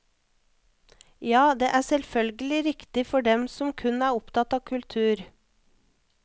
Ja, det er selvfølgelig riktig for dem som kun er opptatt av kultur.